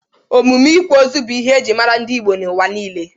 Emume ịkwa ozu bụ ihe ejiri mara ndị Igbo n'ụwa niile.